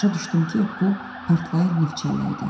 Başa düşdüm ki, bu partlayan neft çəlləyi idi.